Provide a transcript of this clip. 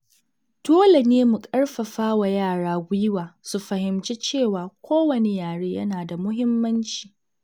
Dole ne mu karfafa wa yara gwiwa su fahimci cewa kowane yare yana da muhimmanci.